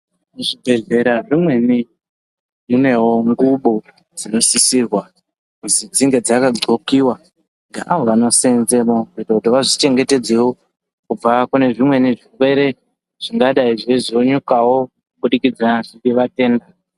Muzvi bhedhera zvimweni munewo ngubo dzinosisirwa kuzi dzinge dzaka dxokiwa ngeavo vano seenzemo kuitire kuti vazvi chengetedze wo kubva kune zvimweni zvirwere zvingadai zveizo nyukawo kuburikidza ngevatenda.